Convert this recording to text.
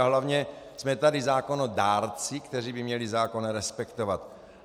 A hlavně jsme tady zákonodárci, kteří by měli zákon respektovat.